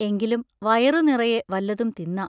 എങ്കിലും വയറു നിറയെ വല്ലതും തിന്നാം.